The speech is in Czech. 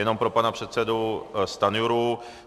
Jenom pro pana předsedu Stanjuru.